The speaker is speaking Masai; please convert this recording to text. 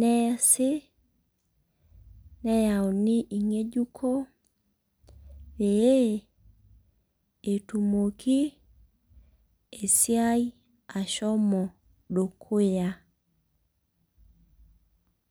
neesie neyauni ingejuko pee etumoki esiai ashomo dukuya.